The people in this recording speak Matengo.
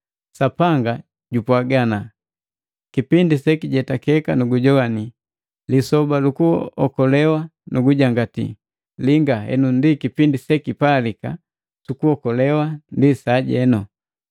Sapanga jupwaaga, “Kipindi sekijetakeka nugujoanii, lisoba lu kuokolewa nugujangati.” Linga henu ndi kipindi sekipalika, lukuokolewa ndi sajenu!